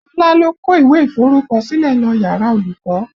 Ọlá ló kó ìwé iforukosile lọ yàrá olùkọ́